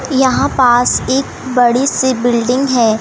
यहां पास एक बड़ी सी बिल्डिंग है।